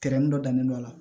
dɔ dannen don a la